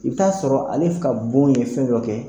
I bɛ t'a sɔrɔ ale ka bon ye fɛn dɔ kɛ